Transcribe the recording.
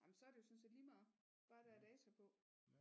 Ah men så er det jo sådan set lige meget bare der er data på